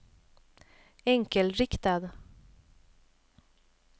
enkelriktad